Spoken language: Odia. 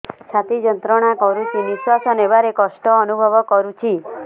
ଛାତି ଯନ୍ତ୍ରଣା କରୁଛି ନିଶ୍ୱାସ ନେବାରେ କଷ୍ଟ ଅନୁଭବ କରୁଛି